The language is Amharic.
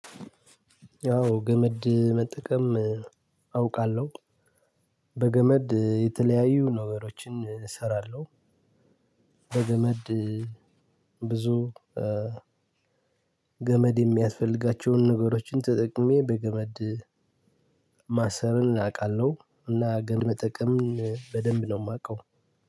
ያው ገመድ መጠቀም አውቃለሁ በገመድ የተለያዩ ነገሮችን እሰራለሁ። በገመድ ብዙ ገመድ የሚያስፈልጋቸውን ነገሮችን ተጠቅሜ በገመድ ማሰርን አውቃለሁ። እና ግን መጠቀም በደንብ ነው ማቀው።